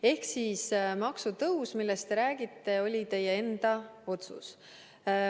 Ehk maksutõus, millest te räägite, oli teie enda otsus.